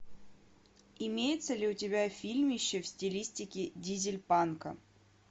имеется ли у тебя фильмище в стилистике дизельпанка